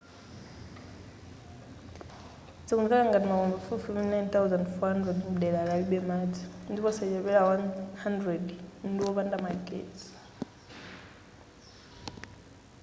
zikumveka ngati makomo pafupifupi 9,400 mdelari alibe madzi ndipo osachepera 100 ndiwopanda magetsi